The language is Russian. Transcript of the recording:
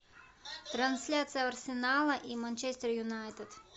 трансляция арсенала и манчестер юнайтед